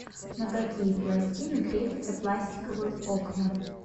на какие пластины крепятся пластиковые окна